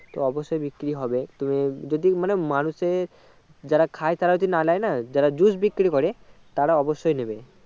তো অবশই বিক্রি হবে তুমি যদি মানে মানুষ এ যারা খাই তারা যদি না নেই না যারা জুস বিক্রি করে তারা অবশ্যই নেবে